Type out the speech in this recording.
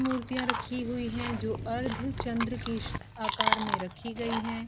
मुर्तियाँ रखी हुई हैं जो अर्द चंद्र के आकर में रखी गई हैं।